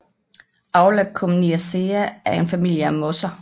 Aulacomniaceae er en familie af mosser